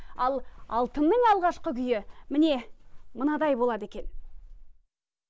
ал алтынның алғашқы күйі міне мынандай болады екен